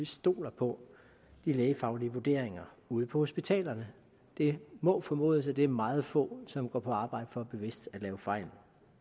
stoler på de lægefaglige vurderinger ude på hospitalerne det må formodes at det er meget få som går på arbejde for bevidst at lave fejl